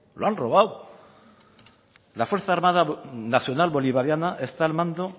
lo han robado la fuerza armada nacional bolivariana está al mando